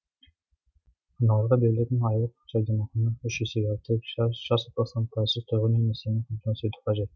аналарға берілетін айлық жәрдемақыны үш есеге арттырып жас отбасыларды пайызсыз тұрғын үй несиесімен қамтамасыз ету қажет